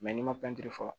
n'i ma fɔ